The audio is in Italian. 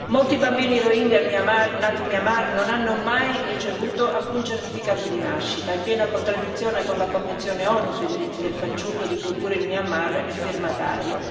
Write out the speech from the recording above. Molti bambini Rohingya nati in Myanmar non hanno mai ricevuto alcun certificato di nascita, in piena contraddizione con la Convenzione ONU sui diritti del fanciullo di cui pure il Myanmar è firmatario.